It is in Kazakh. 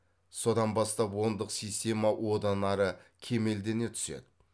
содан бастап ондық система одан ары кемелдене түседі